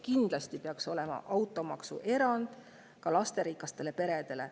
Kindlasti peaks olema automaksuerand ka lasterikastele peredele.